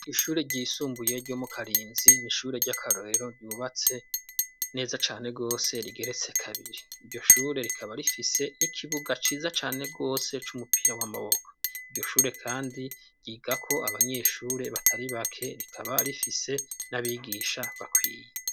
Ishure ryisumbuye ryo mu Karinzi n'ishure ry'akarorero ryubatse neza cane gose ,rigeretse kabiri iryoshure rikaba rifise n'ikibuga ciza cane gose, c'umupira w'amaboko iryoshure kandi ryiga ko abanyeshure batari bake ,rikaba rifise n'abigisha bakwiye.